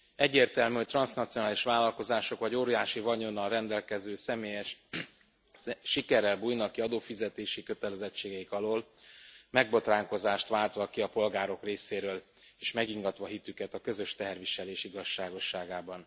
Egyértelmű, hogy transznacionális vállalkozások vagy óriási vagyonnal rendelkező személyek sikerrel bújnak ki adófizetési kötelezettségeik alól, megbotránkozást váltva ki a polgárok részéről, és megingatva hitüket a közös teherviselés igazságosságában.